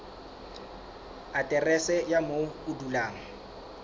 aterese ya moo o dulang